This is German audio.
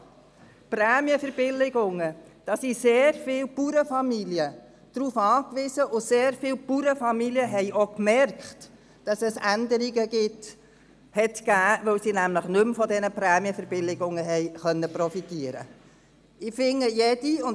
Auf Prämienverbilligungen sind sehr viele Bauernfamilien angewiesen, und sehr viele Bauernfamilien haben auch gemerkt, dass es Änderungen gab, weil sie nämlich nicht mehr von diesen Prämienverbilligungen profitieren konnten.